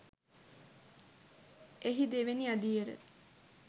එහි දෙවනි අදියර